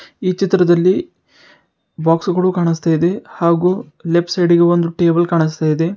ಈ ಚಿತ್ರದಲ್ಲಿ ಬಾಕ್ಸು ಗಳು ಕಾಣಸ್ತಾಇದೆ ಹಾಗು ಲೆಫ್ಟ್ ಸೈಡ್ ಗೆ ಒಂದು ಟೇಬಲ್ ಕಾಣಸ್ತಾಇದೆ.